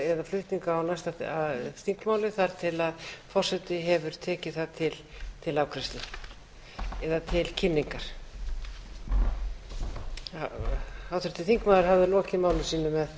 flutning á næsta þingmáli þar til forseti hefur tekið það til afgreiðslu eða til kynningar háttvirtur þingmaður hafði lokið máli sínu